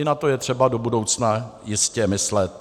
I na to je třeba do budoucna jistě myslet.